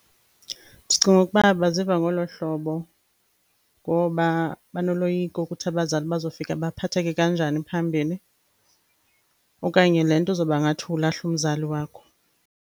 Ndicinga ukuba baziva ngolo hlobo ngoba banoloyiko ukuthi abazali bazofika baphatheke kanjani phambili, okanye le nto izoba ngathi ulahla umzali wakho.